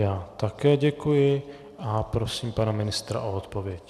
Já také děkuji a prosím pana ministra o odpověď.